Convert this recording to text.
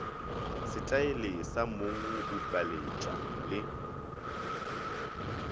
setaele sa mong bupeletpa le